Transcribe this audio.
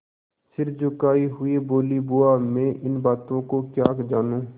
सिर झुकाये हुए बोलीबुआ मैं इन बातों को क्या जानूँ